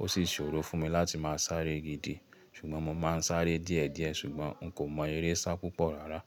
Ó sì ṣòro fún mi láti máa sáré gidi. Ṣùgbọ́n mo máa ń sáré díẹ̀díẹ̀ ṣùgbọ́n n kò mọ eré sá púpọ̀ rárá.